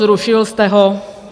Zrušil jste ho.